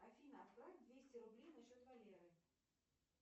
афина отправь двести рублей на счет валеры